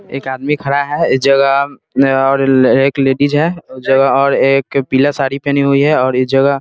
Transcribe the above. एक आदमी खड़ा है इस जगह और एक लेडीज है इस जगह और एक पीला साड़ी पहनी हुई है और इस जगह --